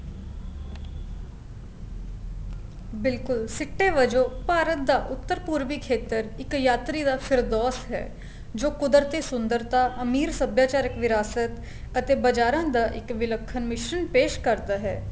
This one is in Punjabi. ਬਿਲਕੁਲ ਸਿੱਟੇ ਵਜੋ ਭਾਰਤ ਦਾ ਉੱਤਰ ਪੂਰਬੀ ਖੇਤਰ ਇੱਕ ਯਾਤਰੀ ਦਾ ਸਿਰਦੋਸ਼ ਹੈ ਜੋ ਕੁਦਰਤੀ ਸੁੰਦਰਤਾ ਅਮੀਰ ਸਭਿਆਚਾਰਕ ਵਿਰਾਸਤ ਅਤੇ ਬਜ਼ਾਰਾ ਦਾ ਇੱਕ ਵਿੱਲਖਣ ਮਿਸ਼੍ਰਣ ਪੈਸ਼ ਕਰਦਾ ਹੈ